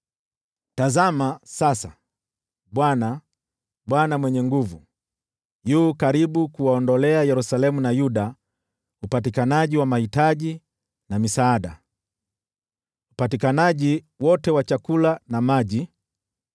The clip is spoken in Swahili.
Tazama sasa, Bwana, Bwana Mwenye Nguvu Zote, yu karibu kuwaondolea Yerusalemu na Yuda upatikanaji wa mahitaji na misaada, upatikanaji wote wa chakula na tegemeo lote la maji,